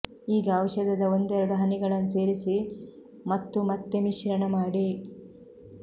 ಈಗ ಔಷಧದ ಒಂದೆರಡು ಹನಿಗಳನ್ನು ಸೇರಿಸಿ ಮತ್ತು ಮತ್ತೆ ಮಿಶ್ರಣ ಮಾಡಿ